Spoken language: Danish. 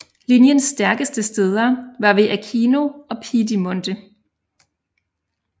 Linjens stærkeste steder var ved Aquino og Piedimonte